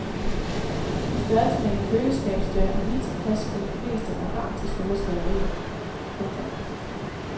På størrelse med en køleskabsdør er lige tilpas for de fleste med hang til store skilderier. punktum